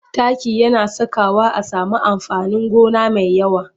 Taki yana sakawa a sami amfanin gona mai yawa.